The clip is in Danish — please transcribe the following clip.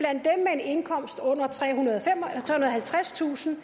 indkomst på under trehundrede og halvtredstusind